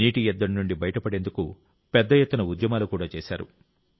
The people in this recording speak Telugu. నీటి ఎద్దడి నుంచి బయటపడేందుకు పెద్దఎత్తున ఉద్యమాలు కూడా చేశారు